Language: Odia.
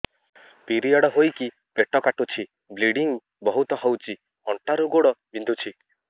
ପିରିଅଡ଼ ହୋଇକି ପେଟ କାଟୁଛି ବ୍ଲିଡ଼ିଙ୍ଗ ବହୁତ ହଉଚି ଅଣ୍ଟା ରୁ ଗୋଡ ବିନ୍ଧୁଛି